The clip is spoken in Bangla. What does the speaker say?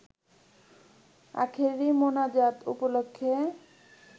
আখেরি মোনাজাত উপলক্ষে